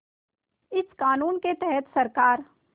इस क़ानून के तहत सरकार